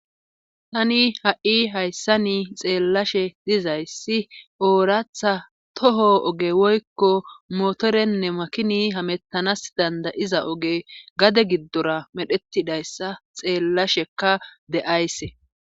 tani ha7i hayssa ni xeellashe dizayssi ooratha toho oge woykko motorenne makini hamettanas dandayiza oge gade giddora medhetidayssa xeellashekka de7ayse